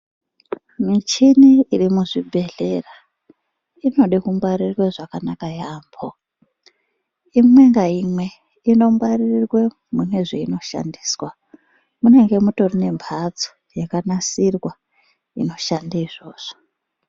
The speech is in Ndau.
Micheni iri muzvibhedhlera inode kungwarirwe zvakanaka yaambo. Imwe ngaimwe inongwaririrwe mwaka zvainoshandiswa munenge mutorine mhatso yakanasirwa inoshande izvozvo.